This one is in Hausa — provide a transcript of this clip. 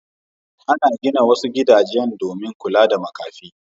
Ana gina wasu gidajen domin kula da makafi.